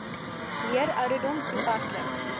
leer ouderdom toepaslik